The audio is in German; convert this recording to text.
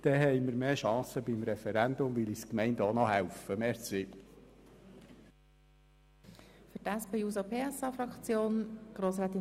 Denn so haben wir grössere Chancen beim Referendum, weil uns die Gemeinden dann auch noch helfen.